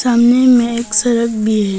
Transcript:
सामने में एक सड़क भी है।